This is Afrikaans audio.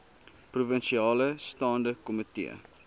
provinsiale staande komitee